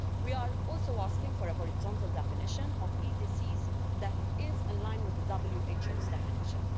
We are also asking for a horizontal definition of E disease that is aligned with the WHO's definition.